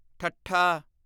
ਠੱਠਾ